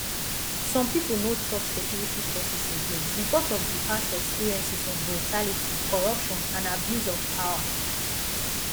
some people no trust security forces again because of di past experiences of brutality corruption and abuse of power